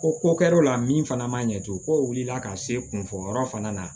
Ko ko kɛra o la min fana ma ɲɛ tugun ko o wulila ka se kunfɔyɔrɔ fana na